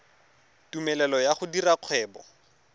tumelelo ya go dira kgwebo